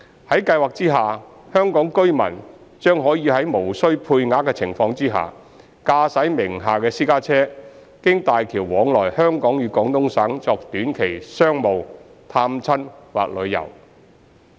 在計劃下，香港居民將可在無需配額的情況下，駕駛名下私家車經大橋往來香港與廣東省作短期商務、探親或旅遊。